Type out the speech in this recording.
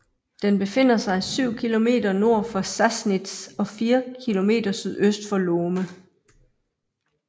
Den befinder sig 7 km nord for Sassnitz og 4 km sydøst for Lohme